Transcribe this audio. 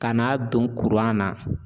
Ka n'a don kuran na